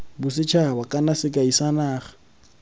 bosethaba kana sekai sa naga